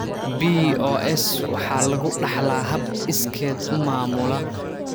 BOS waxa lagu dhaxlaa hab iskeed u maamula.